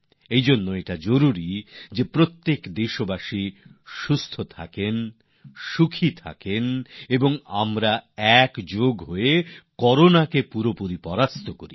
সেইজন্য এটা জরুরি যে প্রত্যেক দেশবাসী সুস্থ থাকুন সুখী থাকুন আর আমরা সকলে মিলে করোনাকে সম্পূর্ণভাবে পরাস্ত করি